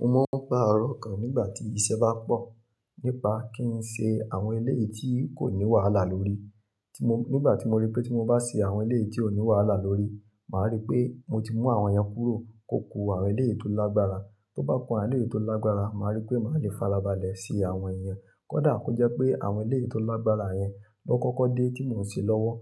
Mo máa ń paro okan mi nígbà tí iṣẹ́ bá pọ̀ nípa kí n ṣe àwọn eléyìí tí kò ní wàhálà lórí. Nígbà tí mo rí pé tí mo bá ṣe àwọn eléyìí tí ò ní wàhálà lórí, màá rí pé mo ti mú àwọn yẹn kúrò kó ku àwọn eléyìí tó lágbára. Tó bá ku àwọn eléyìí tó lágbára, màá rí pé màá le farabalẹ̀ se àwọn iyen. Kódà kó jẹ́ pé àwọn eléyìí tó lágbára yẹn ló kọ́kọ́ dé tí mò ń ṣe lọ́wọ́,